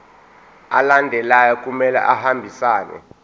alandelayo kumele ahambisane